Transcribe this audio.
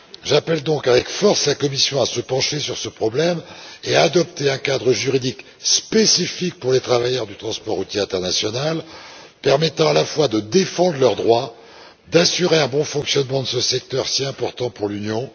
J'appelle donc avec force la Commission à se pencher sur ce problème et à adopter un cadre juridique spécifique pour les travailleurs du transport routier international, permettant à la fois de défendre leurs droits et d'assurer un bon fonctionnement de ce secteur, si important pour l'Union.